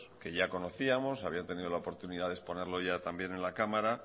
que ya conocíamos había tenido la oportunidad de exponerlo ya también en la cámara